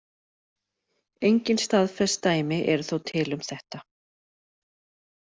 Engin staðfest dæmi eru þó til um þetta.